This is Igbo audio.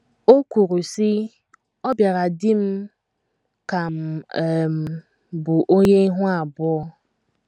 O kwuru, sị: “ Ọ bịara dị m ka m um bụ onye ihu abụọ.